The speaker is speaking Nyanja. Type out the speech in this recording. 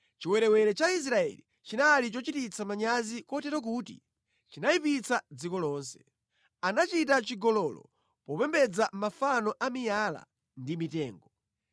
Chiwerewere cha Israeli chinali chochititsa manyazi kotero kuti chinayipitsa dziko lonse. Anachita chigololo popembedza mafano a miyala ndi mitengo.